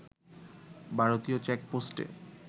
ভারতীয় চেকপোস্টে